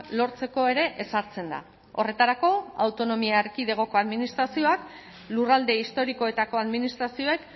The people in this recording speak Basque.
lortzeko ere ezartzen da horretarako autonomia erkidegoko administrazioak lurralde historikoetako administrazioek